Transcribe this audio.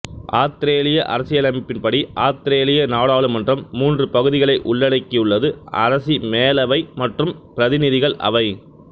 ஆத்திரேலிய அரசியமைப்பின் படி ஆத்திரேலிய நாடாளுமன்றம் மூன்று பகுதிகளை உள்ளடக்கியுள்ளது அரசி மேலவை மற்றும் பிரதிநிதிகள் அவை